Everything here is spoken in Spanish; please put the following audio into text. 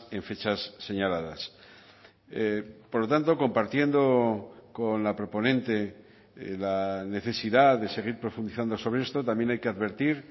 en fechas señaladas por lo tanto compartiendo con la proponente la necesidad de seguir profundizando sobre esto también hay que advertir